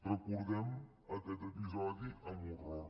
recordem aquest episodi amb horror